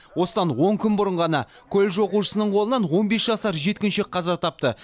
осыдан он күн бұрын ғана колледж оқушысының қолынан он бес жасар жеткіншек қаза тапты